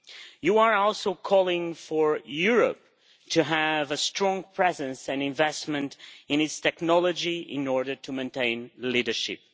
You are also calling for Europe to have a strong presence and investment in its technology in order to maintain leadership.